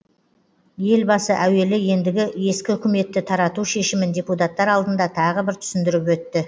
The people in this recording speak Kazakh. елбасы әуелі ендігі ескі үкіметті тарату шешімін депутаттар алдында тағы бір түсіндіріп өтті